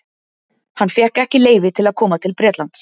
Hann fékk ekki leyfi til að koma til Bretlands.